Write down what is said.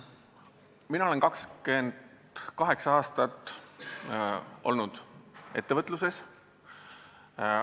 Mina olen 28 aastat olnud ettevõtluses.